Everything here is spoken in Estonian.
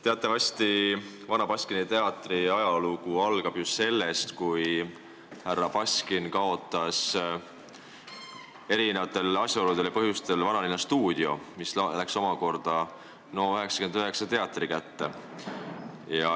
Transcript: Teatavasti Vana Baskini Teatri ajalugu algab sellest, kui härra Baskin kaotas teatud asjaoludel Vanalinnastuudio, mis läks NO99 teatri kätte.